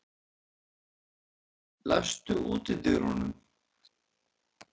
Lofthildur, læstu útidyrunum.